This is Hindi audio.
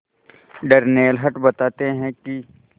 डर्नेल हंट बताते हैं कि